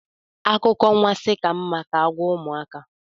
Akụkọ anwansi ka mma ka agwa ụmụaka